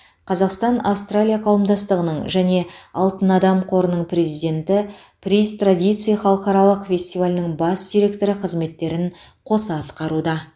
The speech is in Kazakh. қазақстан австралия қауымдастығының және алтын адам қорының президенті приз традиций халықаралық фестивалінің бас директоры қызметтерін қоса атқаруда